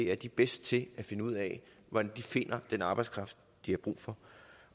er de bedste til at finde ud af hvordan de finder den arbejdskraft de har brug for